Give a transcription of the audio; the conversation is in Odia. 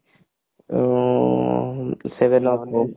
ଉଁ seven up